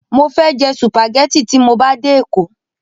Mo fẹ́ jẹ sùpàgẹ́tì tí mo bá dé Èkó.